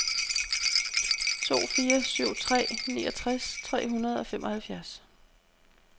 to fire syv tre niogtres tre hundrede og femoghalvfjerds